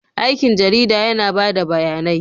Aikin jarida yana ba da bayanai.